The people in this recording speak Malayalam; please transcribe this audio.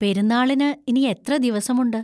പെരുന്നാളിന് ഇനി എത്ര ദിവസമുണ്ട്?